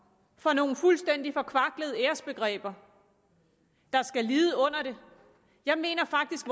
for nogle fuldstændig forkvaklede æresbegreber der skal lide under det jeg mener faktisk